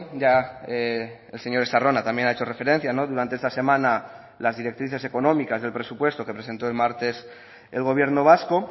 ya el señor estarrona también ha hecho referencia durante esta semana las directrices económicas del presupuesto que presentó el martes el gobierno vasco